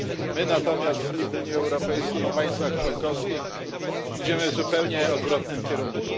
My natomiast i w Unii Europejskiej, i w państwach członkowskich idziemy w zupełnie odwrotnym kierunku.